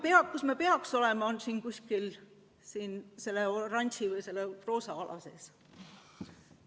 Ja kus me peaks olema, on siin kuskil selle oranži või roosa ala sees.